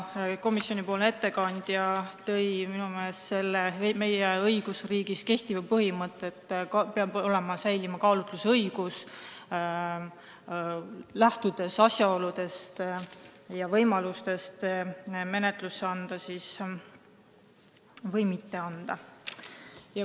Komisjoni ettekandja tõi välja meie õigusriigis kehtiva põhimõtte, et peab säilima kaalutlusõigus, lähtudes asjaoludest ja võimalustest peab saama otsustada, kas anda menetlusse või mitte anda.